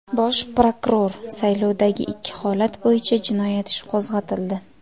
Bosh prokuror: Saylovdagi ikki holat bo‘yicha jinoyat ishi qo‘zg‘atildi.